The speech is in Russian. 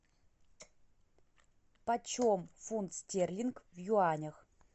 почем фунт стерлинг в юанях